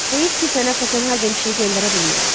Heyif ki sənə Kopenhagen mişşiyi göndərə bilmirəm.